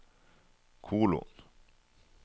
kolon